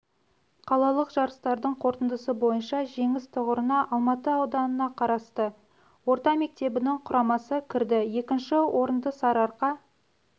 қалалық жарыстардың қорытындысы бойынша жеңіс тұғырына алматы ауданына қарасты орта мектебінің құрамасы кірді екінші орынды сарыарқа